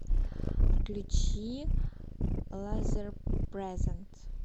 включи лазерпрезент